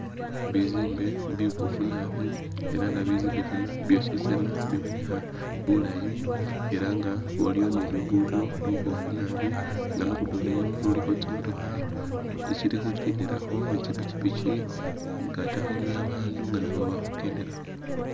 Bizimbe bibofu naabi elah nga bizimbe bino byosi tsana bibonekha bulaayi elah nga waliwo ni luguddo lubofu naabi, luguddo luno lulikho tsimotokha itsili khukendelakho ni tsipikipiki katakho ni babandu nga nabo bali khukendelakho